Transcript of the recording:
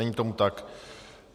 Není tomu tak.